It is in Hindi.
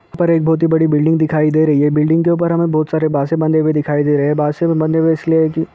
ऊपर एक बोहत ही बड़ी बिल्डिंग दिखाई दे रही है बिल्डिंग के ऊपर हमें बोहत सारे बांसे बंधे हुए दिखाई दे रहे है बांसे बंधे हुए इसलिए है की--